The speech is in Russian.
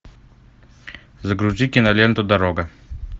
загрузи киноленту дорога